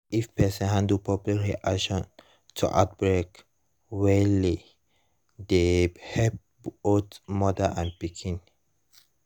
if person handle public reaction to outbreak welle dey help both mother and pikin